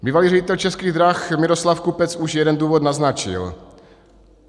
Bývalý ředitel Českých drah Miroslav Kupec už jeden důvod naznačil.